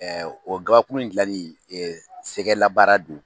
O gabakuru in dilanni sɛgɛ labaara don